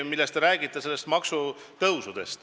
Te räägite maksutõusudest.